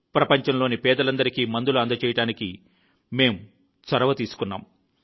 ప్రపంచంలోని పేదలందరికీ మందులు అందజేయడానికి మేము చొరవ తీసుకున్నాం